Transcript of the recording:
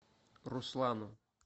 руслану